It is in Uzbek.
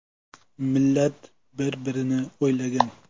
Millat bir-birini o‘ylagan.